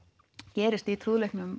gerist í